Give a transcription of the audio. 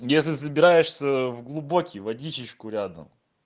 если собираешься ээ в глубокий водичечку рядом